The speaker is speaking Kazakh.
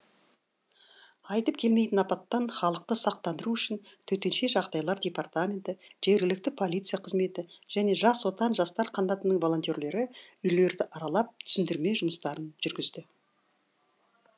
айтып келмейтін апаттан халықты сақтандыру үшін төтенше жағдайлар департаменті жергілікті полиция қызметі және жас отан жастар қанатының волонтерлері үйлерді аралап түсіндірме жұмыстарын жүргізді